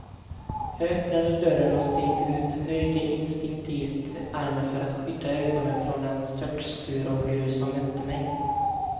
Jag öppnade dörren och steg ut, höjde instinktivt armen för att skydda ögonen från den störtskur av grus som mötte mig.